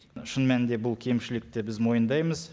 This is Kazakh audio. шын мәнінде бұл кемшілікті біз мойындаймыз